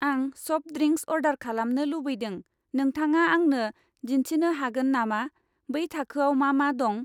आं soft drinks अरडार खालामनो लुबैदों, नोंथाङा आंनो दिन्थिनो हागोन नामा बै थाखोआव मा मा दं?